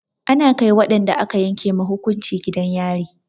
Ana kai waɗanda aka yanke ma hukunci gidan yari.